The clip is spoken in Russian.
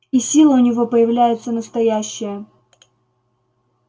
и силы у него появляются настоящие